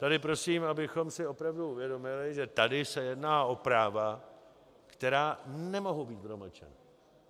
Tady prosím, abychom si opravdu uvědomili, že tady se jedná o práva, která nemohou být promlčena.